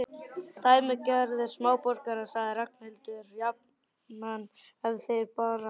Dæmigerðir smáborgarar sagði Ragnhildur jafnan ef þá bar á góma.